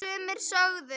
Sumir sögðu